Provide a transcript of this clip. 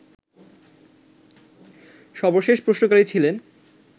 সর্বশেষ প্রশ্নকারী ছিলেন